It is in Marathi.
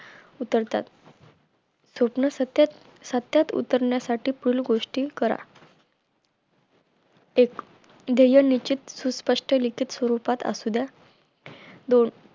उचलतात स्वप्न सत्यात सत्यात उतरण्यासाठी पूल गोष्टी करा एक ध्येयनिश्चित व स्पष्ट लिखित स्वरूपात असू द्या दोन